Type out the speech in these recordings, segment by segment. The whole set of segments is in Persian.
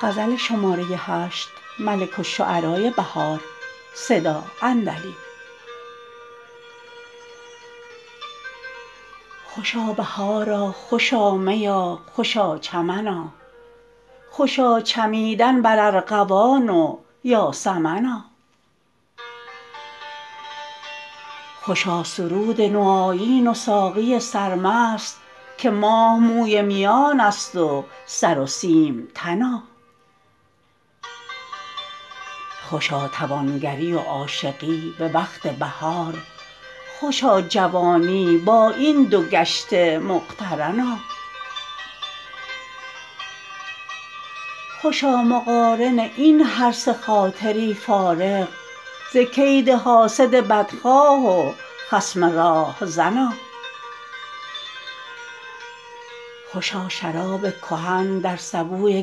خوشا بهارا خوشا میا خوشا چمنا خوشا چمیدن بر ارغوان و یاسمنا خوشا سرود نو آیین و ساقی سرمست که ماه موی میان است و سرو سیم تنا خوشا توانگری و عاشقی به وقت بهار خوشا جوانی با این دو گشته مقترنا خوشا مقارن این هر سه خاطری فارغ ز کید حاسد بدخواه و خصم راهزنا خوشا شراب کهن در سبوی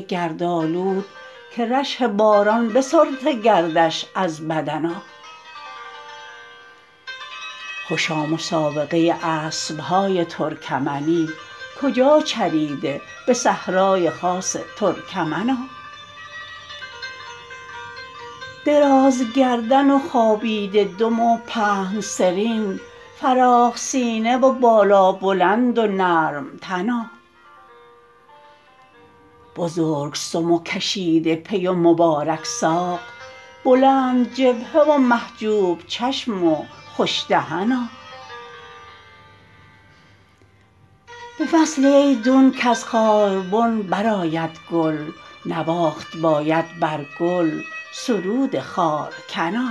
گردآلود که رشح باران بسترده گردش از بدنا خوشا مسابقه اسب های ترکمنی کجا چریده به صحرای خاص ترکمنا درازگردن و خوابیده دم و پهن سرین فراخ سینه و بالابلند و نرم تنا بزرگ سم و کشیده پی و مبارک ساق بلندجبهه و محجوب چشم و خوش دهنا به فصلی ایدون کز خاربن برآید گل نواخت باید بر گل سرود خارکنا